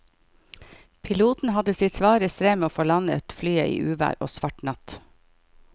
Piloten hadde sitt svare strev med å få landet flyet i uvær og svart natt.